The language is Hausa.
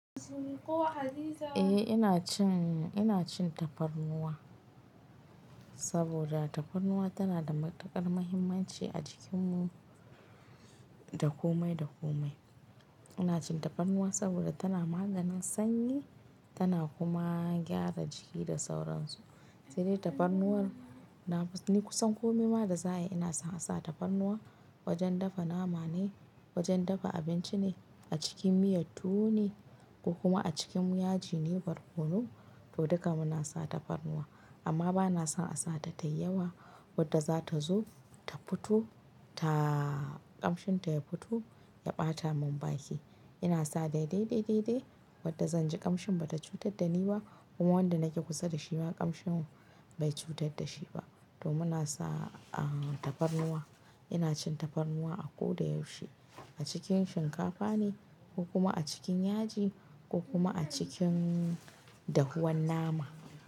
Eh ina cin, ina cin tafarnuwa saboda tafarnuwa tana da matuƙar muhimmanci a jikinmu da komai da komai. Ina cin tafarnuwa saboda tana maganin sanyi tana kuma gyara jiki da sauransu. Sai dai tafarnuwar na ni kusan komai ma da za ai ina son a sa tafarnuwa wajen dafa nama ne, wajen dafa abinci ne, a cikin miyar tuwo ne ko kuma a cikin yaji ne barkono, duk da haka muna sa tafarnuwa. Amma bana son a sa ta tayi yawa wadda za ta zo ta fito ta kamshin ta ya fito ya ɓata mun baki. Ina sa dai dai dai wadda zan ji kamshin bata cutar da ni ba kuma wanda nake kusa da shi ma kamshin bai cutar da shi ba. To muna sa a tafarnuwa. Ina cin tafarnuwa a ko da yaushe a cikin shinkafa ne ko kuma a cikin yaji ko kuma a cikin dahuwan nama.